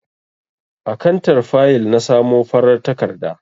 A kantar fayil na samo farar takarda.